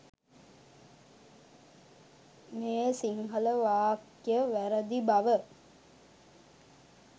මේ සිංහල වාක්‍යය වැරැදි බව